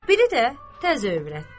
Biri də təzə övrətdir.